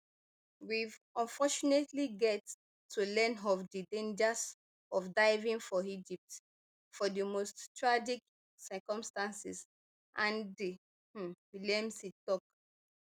weve unfortunately get to learn of di dangers of diving for egypt for di most tragic of circumstances andy um williamson tok